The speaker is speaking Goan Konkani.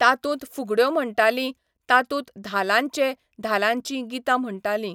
तातूंत फुगड्यो म्हणटालीं तातूंत धालांचे धालांचीं गितां म्हणटालीं.